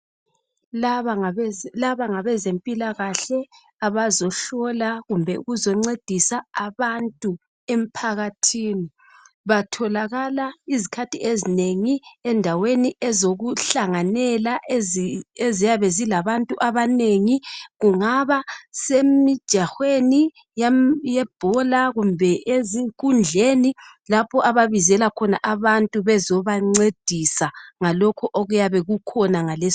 Laba ngabezempilakahle abazohlola kumbe ukuzoncedisa abantu emphakathini. Batholakala izikhathi ezinengi endaweni ezokuhlanganela eziyabe zilabantu abanengi kungaba semjahweni yebhola kumbe ezinkundleni lapho ababizela khona abantu bezobancedisa ngalokho okuyabe kukhona ngales.